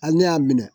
Hali ne y'a minɛ